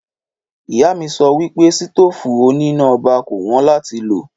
Ìyá mi sọ wípé sitofu òní iná ọba kò wón làtí lo